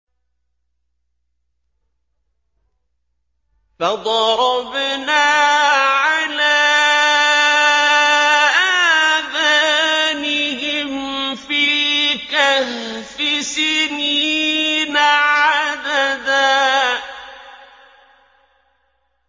فَضَرَبْنَا عَلَىٰ آذَانِهِمْ فِي الْكَهْفِ سِنِينَ عَدَدًا